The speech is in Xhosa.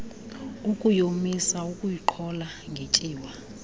ukuyomisa ukuyiqhola ngetyiwa